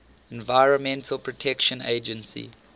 environmental protection agency